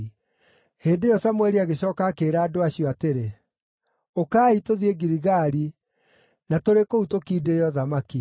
Hĩndĩ ĩyo Samũeli agĩcooka akĩĩra andũ acio atĩrĩ, “Ũkai, tũthiĩ Giligali na tũrĩ kũu tũkindĩre ũthamaki.”